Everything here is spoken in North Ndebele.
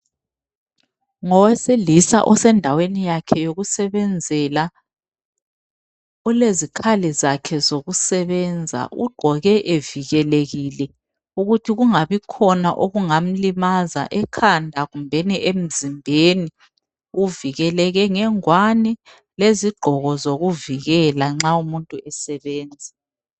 Ngowesilisa osendaweni yakhe yokusebenzela. Ulezikhali zakhe zokusebenza. Ugqoke evikelekile ukuthi kungabikhona okungamlimaza ekhanda kumbeni emzimbeni. Uvikeleke ngengwane lezigqoko zokuvikela nxa umuntu esebenza.